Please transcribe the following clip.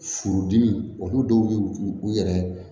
Furudimi olu dɔw bɛ u u yɛrɛ